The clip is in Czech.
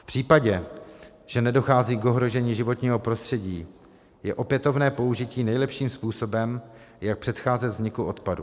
V případě, že nedochází k ohrožení životního prostředí, je opětovné použití nejlepším způsobem, jak předcházet vzniku odpadu.